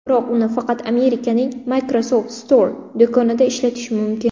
Biroq uni faqat Amerikaning Microsoft Store do‘konida ishlatish mumkin.